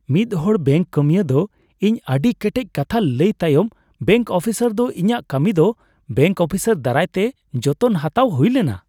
ᱢᱤᱫ ᱦᱚᱲ ᱵᱮᱝᱠ ᱠᱟᱹᱢᱤᱭᱟᱹ ᱫᱚ ᱤᱧ ᱥᱟᱶ ᱟᱹᱰᱤ ᱠᱮᱴᱮᱡ ᱠᱟᱛᱷᱟ ᱞᱟᱹᱭ ᱛᱟᱭᱚᱢ ᱵᱮᱝᱠ ᱚᱯᱷᱤᱥᱟᱨ ᱫᱚ ᱤᱧᱟᱹᱜ ᱠᱟᱹᱢᱤ ᱫᱚ ᱵᱮᱝᱠ ᱚᱯᱷᱤᱥᱟᱨ ᱫᱟᱨᱟᱭᱛᱮ ᱡᱚᱛᱚᱱ ᱦᱟᱛᱟᱣ ᱦᱩᱭ ᱞᱮᱱᱟ ᱾